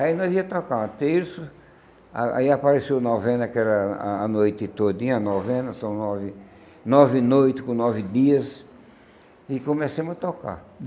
Aí nós ia tocar uma terça, a aí apareceu a novena, que era a a noite todinha, a novena, são nove nove noites com nove dias, e começamos a tocar.